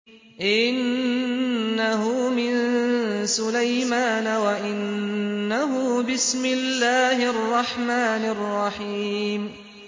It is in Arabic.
إِنَّهُ مِن سُلَيْمَانَ وَإِنَّهُ بِسْمِ اللَّهِ الرَّحْمَٰنِ الرَّحِيمِ